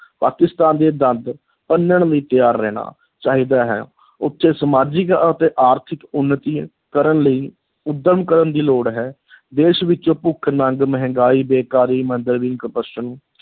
ਪਾਕਿਸਤਾਨ ਦੇ ਦੰਦ ਭੰਨਣ ਲਈ ਤਿਆਰ ਰਹਿਣਾ ਚਾਹੀਦਾ ਹੈ ਉੱਥੇ ਸਮਾਜਿਕ ਅਤੇ ਆਰਥਿਕ ਉੱਨਤੀ ਕਰਨ ਲਈ ਉੱਦਮ ਕਰਨ ਦੀ ਲੋੜ ਹੈ ਦੇਸ਼ ਵਿੱਚੋਂ ਭੁੱਖ, ਨੰਗ, ਮਹਿੰਗਾਈ, ਬੇਕਾਰੀ, ਮੰਦਹਾਲੀ corruption